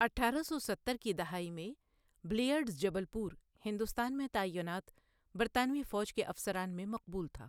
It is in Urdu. اٹھارہ سو ستر کی دہائی میں، بلیئرڈز جبل پور، ہندوستان میں تعینات برطانوی فوج کے افسران میں مقبول تھا